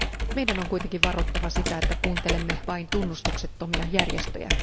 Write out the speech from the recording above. Meidän on kuitenkin varottava sitä, että kuuntelemme vain tunnustuksettomia järjestöjä.